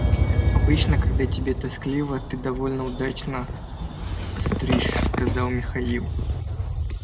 обычно когда тебе тоскливо ты довольно удачно остришь сказал михаил